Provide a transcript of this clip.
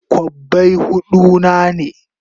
Kobbai hudu na ne?